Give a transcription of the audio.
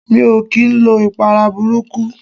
Mi ò kii lo ìpara burúkú.